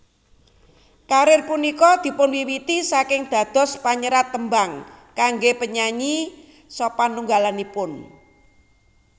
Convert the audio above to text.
Karir punika dipunwiwiti saking dados panyerat tembang kangge penyanyi sapanunggalipun